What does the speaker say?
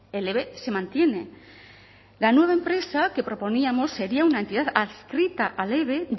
el eve se mantiene la nueva empresa que proponíamos sería una entidad adscrita al eve